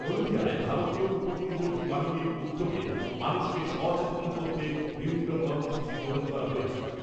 হলদিয়ায় ভারতীয় উপকূলবর্তী বাহিনীর উদ্যোগে মানুষকে সচেতন করতে বিভিন্ন কর্মসূচি গ্রহণ করা হয়েছে ।